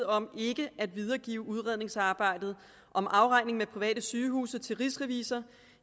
om ikke at videregive udredningsarbejdet om afregning med private sygehuse til rigsrevisor